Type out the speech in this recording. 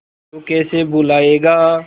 तू कैसे भूलाएगा